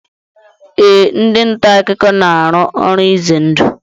Ee, ndị ntaakụkọ na-arụ ọrụ izendụ